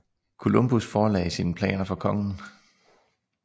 Columbus forelagde sine planer for kongen